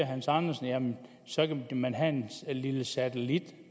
hans andersen at jamen så kan man have en lille satellit